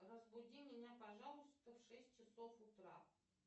разбуди меня пожалуйста в шесть часов утра